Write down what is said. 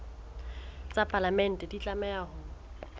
tsa palamente di tlameha ho